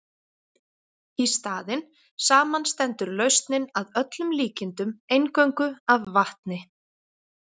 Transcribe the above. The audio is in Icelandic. Í staðinn samanstendur lausnin að öllum líkindum eingöngu af vatni.